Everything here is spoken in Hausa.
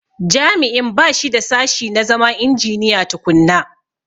Jami'in ba shi da sashi na zama injiniya tukunna.